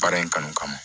Baara in kanu kama